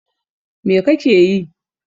What are you doing?